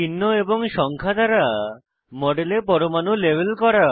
চিহ্ন এবং সংখ্যা দ্বারা মডেলে পরমাণু লেবেল করা